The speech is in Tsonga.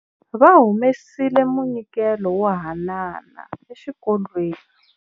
Va humesile munyikelo wo haanana exikolweni.